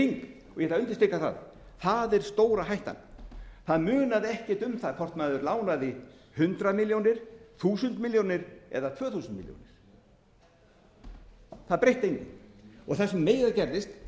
í hring og ég ætla að undirstrika það það er stóra hættan það munaði ekkert um það hvort maður lánaði hundrað milljón þúsund milljónir eða tvö þúsund milljónir það breytti engu og það sem meira gerðist